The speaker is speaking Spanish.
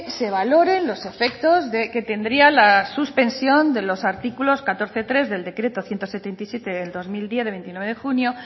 se valoren los efectos que tendría la suspensión de los artículos catorce punto tres del decreto ciento setenta y siete barra dos mil diez del veintinueve de junio